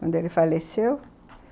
Quando ele faleceu.